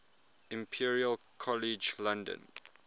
imperial college london